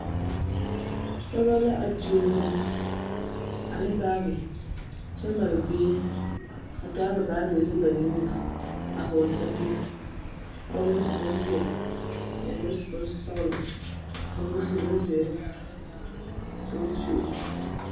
Pɔgɔ a tuo mui ane baagi kyɛ mare bie a taa ba baagire ne ba nuure a hɔɔle sɛpige ka ba mine su bonpeɛle ka ba mine su bonsɔglɔ ka ba mine su bonzeere ka ba tuo.